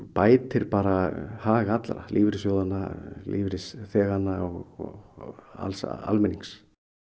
bætir hag allra lífeyrissjóðanna lífeyrisþeganna og alls almennings